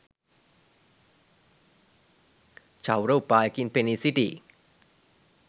චෞර උපායකින් පෙනී සිටියි.